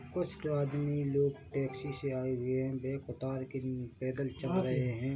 कुछ आदमी लोग टैक्सी से आए हुए है बेग उतार के पे पैदल चल रहे है।